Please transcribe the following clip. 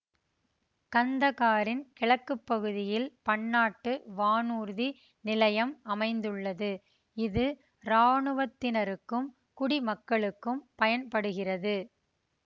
கந்தகாரின் கிழக்கு பகுதியில் பன்னாட்டு வானூர்தி நிலையம் அமைந்துள்ளது இது இராணுவத்தினருக்கும் குடிமக்களுக்கும் பயன்படுகிறது